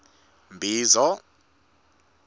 mbizo